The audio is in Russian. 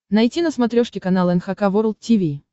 найти на смотрешке канал эн эйч кей волд ти ви